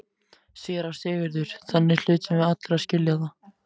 SÉRA SIGURÐUR: Þannig hlutum við allir að skilja það.